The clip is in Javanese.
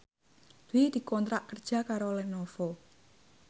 Dwi dikontrak kerja karo Lenovo